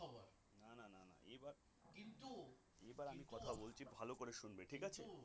এবার আমি কথা বলছি ভালো করে শুনবে ঠিক আছে